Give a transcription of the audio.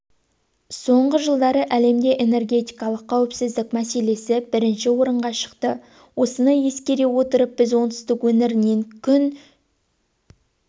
соңғы жылдары әлемде энергетикалық қауіпсіздік мәселесі бірінші орынға шықты осыны ескере отырып біз оңтүстік өңірінен күн